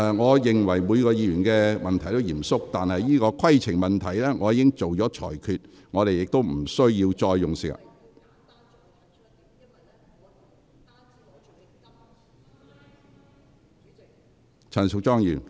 我認為每位議員的問題都是嚴肅的，但我已就相關規程問題作出裁決，不應再花時間......